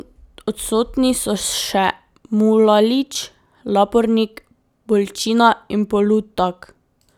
Odsotni so še Mulalić, Lapornik, Bolčina in Polutak.